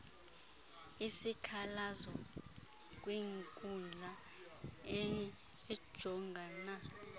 isikhalazo kwinkundla ejongana